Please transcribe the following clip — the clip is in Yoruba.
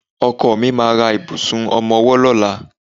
Ọkọ mi ma ra ìbùsùn ọmọwọ́ lọ́la.